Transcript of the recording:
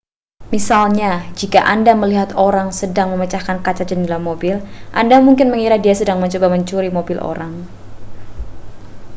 misalnya jika anda melihat seseorang sedang memecahkan kaca jendela mobil anda mungkin mengira dia sedang mencoba mencuri mobil orang